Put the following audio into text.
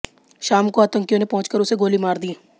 शाम को आतंकियों ने पहुंचकर उसे गोली मार दी